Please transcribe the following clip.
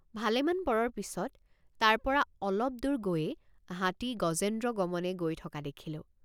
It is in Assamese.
ভালেমান পৰৰ পিচত তাৰপৰা অলপদূৰ গৈয়েই হাতী গজেন্দ্ৰ গমনে গৈ থকা দেখিলোঁ।